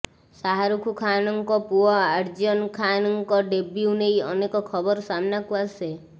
ଶାହରୁଖ ଖାନଙ୍କ ପୁଅ ଆର୍ଯ୍ୟନ ଖାନଙ୍କ ଡେବ୍ୟୁ ନେଇ ଅନେକ ଖବର ସାମ୍ନାକୁ ଆସେ